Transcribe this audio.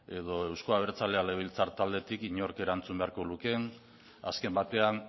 edo euzko abertzaleak legebiltzar taldetik inork erantzun beharko lukeen azken batean